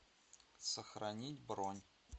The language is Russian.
сохранить бронь